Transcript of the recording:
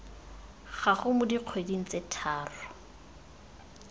gago mo dikgweding tse tharo